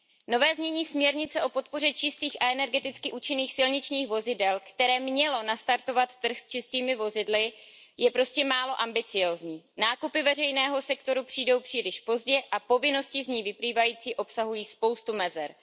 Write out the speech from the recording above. Nové znění směrnice o podpoře čistých a energeticky účinných silničních vozidel, které mělo nastartovat trh s čistými vozidly, je prostě málo ambiciózní, nákupy veřejného sektoru přijdou příliš pozdě a povinnosti z ní vyplývající obsahují spoustu mezer.